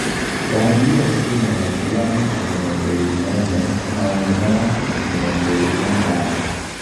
Bathi iyo ina ũraihu wa mita mĩrongo irĩ na ĩmwe na ũnene wa futi mĩrongo ĩri na ithano.